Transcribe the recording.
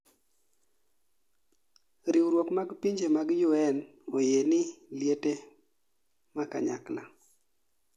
riwruok mag pinje mag UN oyieni liete makanyakla